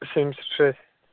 семьдесят шесть